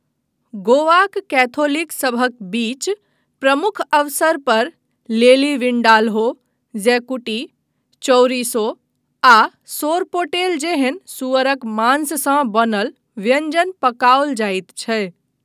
गोवाक कैथोलिकसभक बीच प्रमुख अवसर पर लेली विंडाल्हो, ज़ैकुटी, चौरिसो, आ सोरपोटेल जेहन सुअरक मांससँ बनल व्यञ्जन पकाओल जाइत छै।